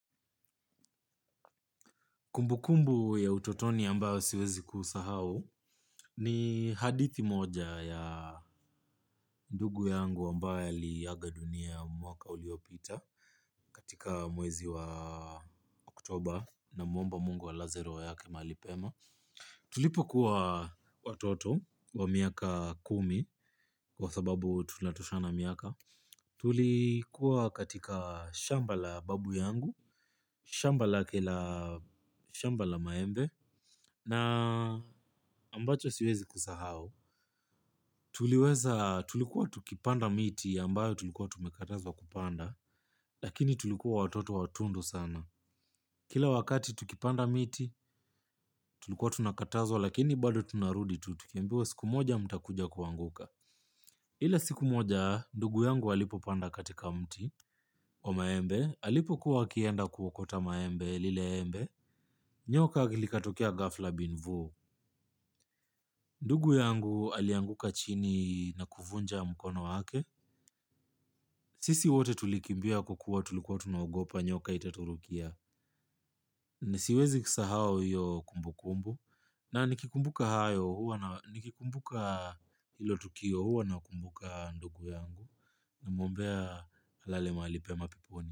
Kumbukumbu ya utotoni ambayo siwezi kusahau ni hadithi moja ya ndugu yangu ambae aliaga dunia mwaka uliopita katika mwezi wa oktoba namwomba mungu alaze roho yake mahali pema. Tulipo kuwa watoto wa miaka kumi kwa sababu tunatoshana miaka. Tulikuwa katika shamba la babu yangu, shamba lake la shamba la maembe. Na ambacho siwezi kusahau tuliweza tulikuwa tukipanda miti ambayo tumekatazwa kupanda lakini tulikuwa watoto watundu sana. Kila wakati tulikuwa watoto watundo sana, kila wakati tulikuwa tunakatazwa, lakini bado tunarudi tu tukiambiwa siku moja mtakuja kuanguka. Ila siku moja, ndugu yangu alipo panda katika mti wa maembe, alipo kuwa akienda kuokota maembe lile embe, nyoka likatokea ghafla bin vuu. Ndugu yangu alianguka chini na kuvunja mkono wake. Sisi wote tulikimbia kwa kuwa tulikuwa tunagopa nyoka itaturukia. Na siwezi kusahau hiyo kumbu kumbu. Na nikikumbuka hayo huwa na nikikumbuka hilo tukio huwa nakumbuka ndugu yangu namuombea alale mahali pema peponi hiyo hiyo hiyo hiyo hiyo hiyo hiyo hiyo hiyo hiyo.